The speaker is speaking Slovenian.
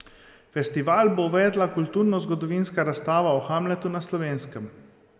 Festival bo uvedla kulturnozgodovinska razstava o Hamletu na Slovenskem.